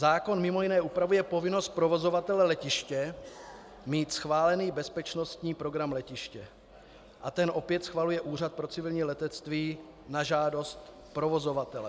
Zákon mimo jiné upravuje povinnost provozovatele letiště mít schválený bezpečnostní program letiště a ten opět schvaluje Úřad pro civilní letectví na žádost provozovatele.